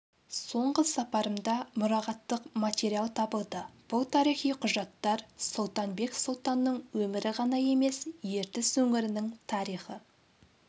соңғы сапарымда мұрағаттық материал табылды бұл тарихи құжаттар сұлтанбет сұлтанның өмірі ғана емес ертіс өңірінің тарихы